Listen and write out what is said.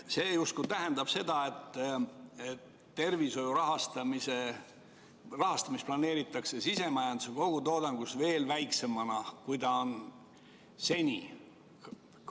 See tähendab justkui seda, et tervishoiu rahastamist planeeritakse sisemajanduse kogutoodangust veel väiksemana, kui ta on seni olnud.